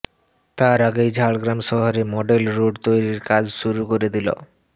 তার আগেই ঝাড়গ্রাম শহরে মডেল রোড তৈরির কাজ শুরু করে দিল